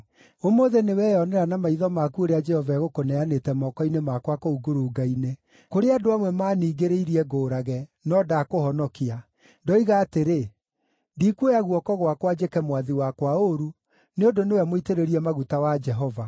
Ũmũthĩ nĩweyonera na maitho maku ũrĩa Jehova egũkũneanĩte moko-inĩ makwa kũu ngurunga-inĩ. Kũrĩ andũ amwe maniingĩrĩirie ngũũrage, no ndakũhonokia; ndoiga atĩrĩ, ‘Ndikuoya guoko gwaka njĩke mwathi wakwa ũũru, nĩ ũndũ nĩwe mũitĩrĩrie maguta wa Jehova.’